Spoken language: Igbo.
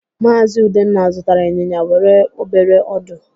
Maazị Udenna zụtara ịnyịnya nwere obere ọdụ.